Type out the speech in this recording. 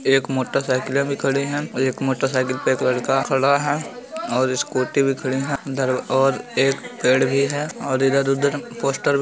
एक मोटरसाइकिलें भी खड़े हैं एक मोटरसाइकिल पे एक लड़का खड़ा है और स्कूटी भी खड़ी है अंदर और एक पेड़ भी है और इधर उधर पोस्टर भी--